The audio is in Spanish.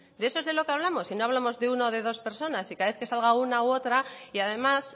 y no hablamos de uno o dos personas si cada vez que sale una u otra y además